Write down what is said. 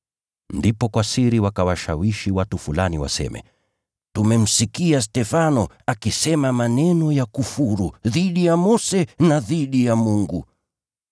Ndipo kwa siri wakawashawishi watu fulani waseme, “Tumemsikia Stefano akisema maneno ya kufuru dhidi ya Mose na dhidi ya Mungu.”